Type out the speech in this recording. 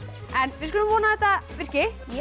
við skulum vona að þetta virki